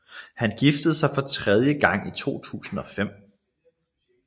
Han giftede sig for tredje gang i 2005